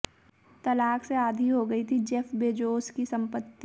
तलाक से आधी हो गई थी जेफ बेजोस की संपत्ति